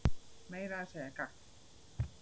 Meira að segja gagn.